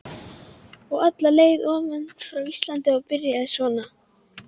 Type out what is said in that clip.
Og alla leið ofan frá Íslandi og byrjar svona